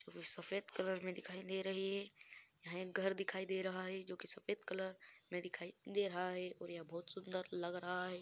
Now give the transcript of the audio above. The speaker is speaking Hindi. वो सफ़ेद कलर में दिखाई दे रही है यहाँ एक घर दिखाई दे रहा है जो की सफ़ेद कलर में दिखाई दे रहा है और ये बहुत सुंदर लग रहा है।